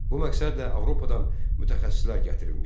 Bu məqsədlə Avropadan mütəxəssislər gətirilmişdi.